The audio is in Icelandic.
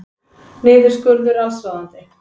Niðurskurður allsráðandi